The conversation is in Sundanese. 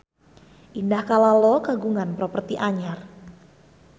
Indah Kalalo kagungan properti anyar